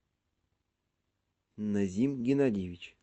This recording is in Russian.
назим геннадьевич